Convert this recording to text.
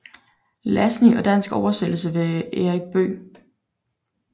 Lassen i dansk oversættelse ved Erik Bøegh